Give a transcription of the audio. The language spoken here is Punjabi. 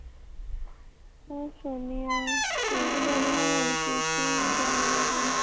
ਮੈਂ ਸੋਣਦੀ ਆ ਤੁਸੀਂ ਵੀ ਡੈਡੀ ਨਾਲ ਗੱਲ ਕੀਤੀ ਸੀ ਕਿਹਾ ਸੀ ਡੈਡੀ ਨੂੰ